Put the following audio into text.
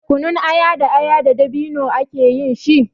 Kunun aya da aya da dabino ake yin shi.